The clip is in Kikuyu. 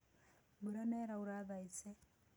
Mbũra nĩĩraũra thaĩcĩ.